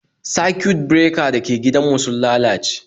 Circuit breaker dake gidan mu sun lalace